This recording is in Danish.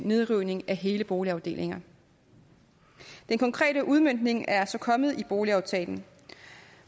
nedrivning af hele boligafdelinger den konkrete udmøntning er så kommet med i boligaftalen